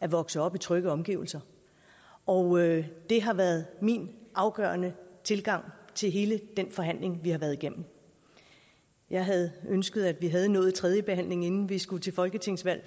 at vokse op i trygge omgivelser og det har været min afgørende tilgang til hele den forhandling vi har været igennem jeg havde ønsket at vi havde nået tredjebehandlingen inden vi skulle til folketingsvalg